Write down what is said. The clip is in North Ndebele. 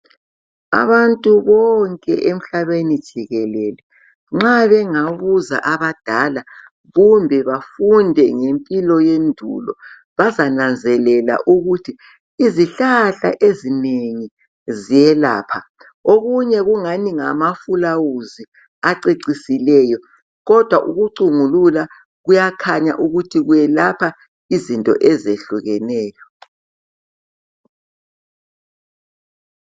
Abantu bonke emhlabeni jikelele, nxa bengabuza abadala, kumbe bafunde ngempilo yendulo, bazananzelela ukuthi izihlahla ezinengi ziyelapha. Okunye kungani ngamafulawuzi acecisileyo, kodwa ukucungulula kuyakhanya ukuthi kwelapha izinto ezehlukeneyo.